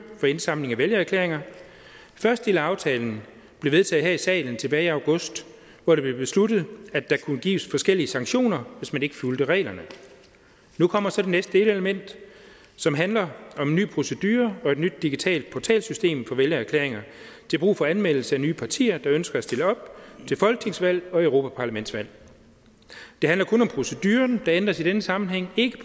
for indsamling af vælgererklæringer første del af aftalen blev vedtaget her i salen tilbage i august hvor det blev besluttet at der kunne gives forskellige sanktioner hvis man ikke fulgte reglerne nu kommer så det næste delelement som handler om en ny procedure og et nyt digitalt portalsystem for vælgererklæringer til brug for anmeldelse af nye partier der ønsker at stille op til folketingsvalg og europaparlamentsvalg det handler kun om proceduren der ændres i denne sammenhæng ikke